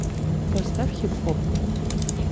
поставь хип хоп